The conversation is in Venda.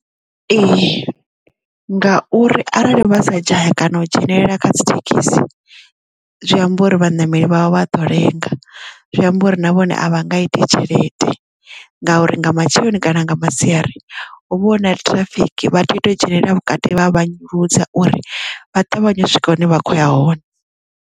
Ee ngauri arali vha sa dzhaya kana u dzhenelela kha dzithekhisi zwi amba uri vhaṋameli vhavha vhaḓo lenga zwi amba uri na vhone a vha nga iti tshelede ngauri nga matsheloni kana nga masiari u vhona ṱhirafiki vha tea u ita dzhenelele vhukati vha vhanyuludze uri vha ṱavhanye u swika hune vha khoya hone.